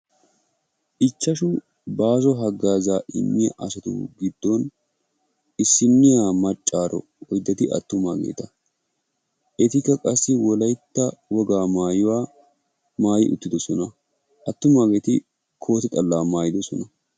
Ichchashu baaso hagazza imiyagettuppe issiniya maccaro oyddati attumagetta. Ettika wolaytta wogaa maayuwaa maayi uttidossona attumagetti kootekanchiyaa maayidossona.